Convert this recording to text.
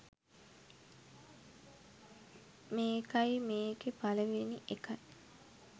මේකයි මේකෙ පලවෙනි එකයි